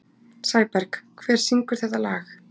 Sæberg, hver syngur þetta lag?